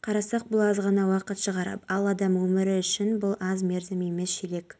қарасақ бұл аз ғана уақыт шығар ал адам өмірі үшін бұл аз мерзім емес ширек